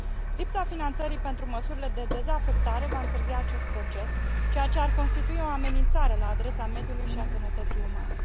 Lipsa finanțării pentru măsurile de dezafectare va întârzia acest proces, ceea ce ar constitui o amenințare la adresa mediului și a sănătății umane.